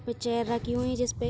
उसपे चेयर रखी हुई है जिसपे --